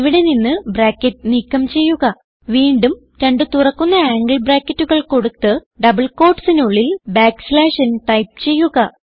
ഇവിടെ നിന്ന് ബ്രാക്കറ്റ് നീക്കം ചെയ്യുക വീണ്ടും രണ്ട് തുറക്കുന്ന ആംഗിൾ ബ്രാക്കറ്റുകൾ കൊടുത്ത് ഡബിൾ quotesനുള്ളിൽ ബാക്ക് സ്ലാഷ് n ടൈപ്പ് ചെയ്യുക